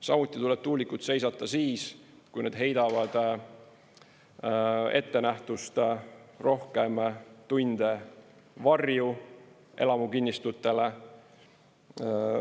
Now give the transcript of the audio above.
Samuti tuleb tuulikud seisata siis, kui need heidavad ettenähtust rohkem tunde varju elamukinnistutele.